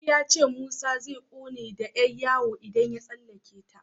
Ali ya ce Musa zai ƙone da Yan yawo idan ya tsallaka ta.